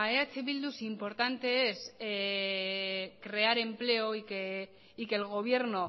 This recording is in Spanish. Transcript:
eh bildu si importante es crear empleo y que el gobierno